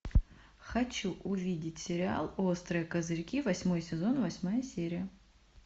хочу увидеть сериал острые козырьки восьмой сезон восьмая серия